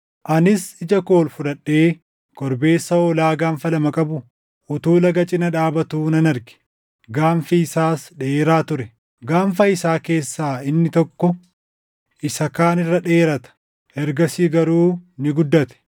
Anis ija ol fudhadhee korbeessa hoolaa gaanfa lama qabu utuu laga cina dhaabatu nan arge; gaanfi isaas dheeraa ture. Gaanfa isaa keessaa inni tokko isa kaan irra dheerata; ergasii garuu ni guddate.